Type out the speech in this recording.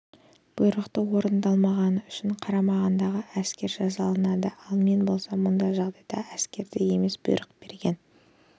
бұйрықты орындамағандығы үшін қарамағындағы әскер жазаланады ал мен болсам мұндай жағдайда әскерді емес бұйрық берген